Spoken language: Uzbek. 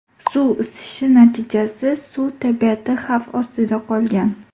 Suv isishi natijasi suv tabiati xavf ostida qolgan.